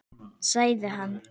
Sagði hann.